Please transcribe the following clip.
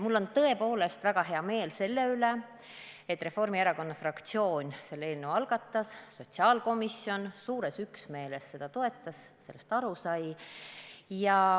Mul on tõepoolest väga hea meel selle üle, et Reformierakonna fraktsioon selle eelnõu algatas ning sotsiaalkomisjon suures üksmeeles seda toetas ja sellest aru sai.